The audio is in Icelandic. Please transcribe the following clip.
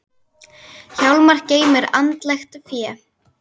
Hjálmar geymir andlegt fé.